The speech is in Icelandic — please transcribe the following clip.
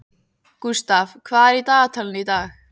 Gústaf, hvað er í dagatalinu í dag?